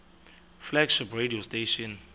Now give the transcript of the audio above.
flagship radio station